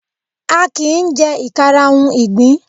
A kìí jẹ́ ìkarahun ìgbín.